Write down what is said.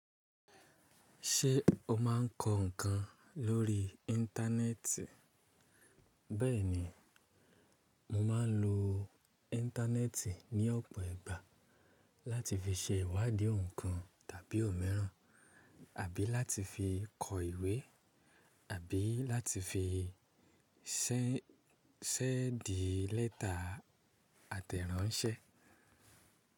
Ṣé o máa ń kọ nǹkan lórí Íńtánẹ́ẹ̀tì? Bẹ́ẹ̀ni, mo máa ń lo Íńtánẹ́ẹ̀tì ní ọ̀pọ̀ ìgbà láti fi ṣe ìwádìí nǹkan tàbí òmíràn, àbí láti fi kọ ìwé, àbí láti fi ṣẹ̀ndi lẹ́ta àtẹ̀ránṣẹ́.